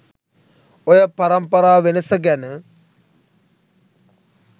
ඔය පරම්පරා වෙනස ගැන